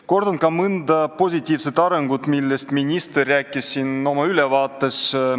Kordan ka mõnda positiivset arengut, millest minister siin oma ülevaates rääkis.